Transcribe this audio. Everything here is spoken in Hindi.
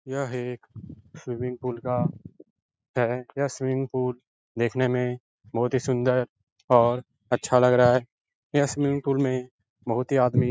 यह एक स्विमिंग पूल का है। यह स्विमिंग पूल देखने में बोहोत ही सुंदर और अच्छा लग रहा है। यह स्विमिंग पूल में बोहोत ही आदमी --